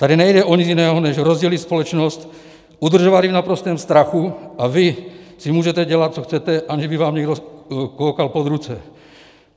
Tady nejde o nic jiného než rozdělit společnost, udržovat ji v naprostém strachu, a vy si můžete dělat, co chcete, aniž by vám někdo koukal pod ruce.